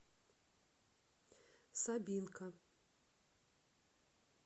сабинка